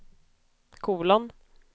kolon